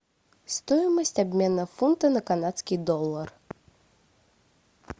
стоимость обмена фунта на канадский доллар